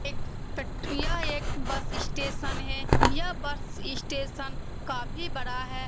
एक यह एक बस स्टेशन है यह बस स्टेशन काफी बड़ा है।